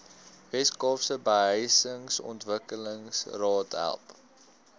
weskaapse behuisingsontwikkelingsraad help